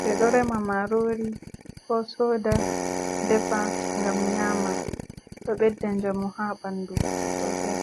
ɓe ɗo rema marori ko soda defa gam nyama, ɗo ɓedda jamu ha ɓandu sosei.